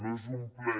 no és un ple